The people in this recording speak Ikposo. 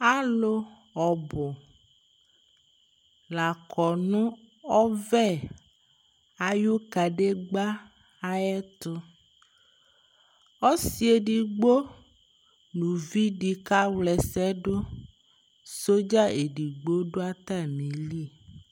Alʋ ɔbʋ la kɔ nʋ ɔvɛ ayʋ kadegbǝ ayɛtʋ Ɔsɩ edigbo nʋ uvi dɩ kawla ɛsɛ dʋ Sɔdza edigbo dʋ atamɩli